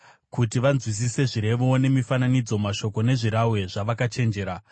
kuti vanzwisise zvirevo nemifananidzo, mashoko nezvirahwe zvavakachenjera.